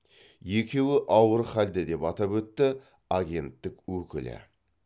екеуі ауыр халде деп атап өтті агенттік өкілі